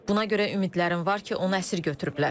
Buna görə ümidlərim var ki, onu əsir götürüblər.